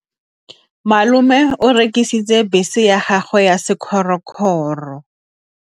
Malome o rekisitse bese ya gagwe ya sekgorokgoro.